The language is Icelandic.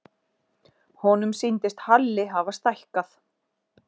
Honum sýndist Halli hafa stækkað.